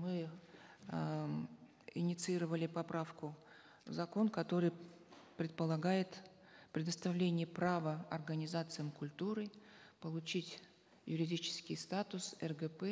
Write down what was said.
мы эээ инициировали поправку в закон который предполагает предоставление права организациям культуры получить юридический статус ргп